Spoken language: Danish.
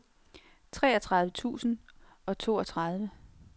treogtredive tusind og toogtredive